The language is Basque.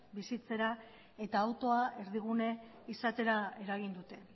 bizitzera eta autoa erdigune izatera eragin dute